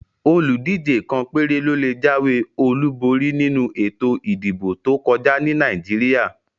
Oludije kàn péré ló lè jáwé Olu borí nínú ètò ìdìbò tó kọjá ní Nàìjíríà